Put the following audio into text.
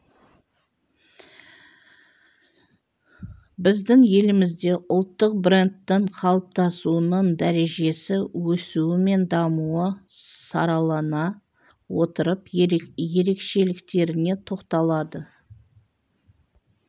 біздің елімізде ұлттық брендтің қалыптасуының дәрежесі өсуі мен дамуы саралана отырып ерекшеліктеріне тоқталды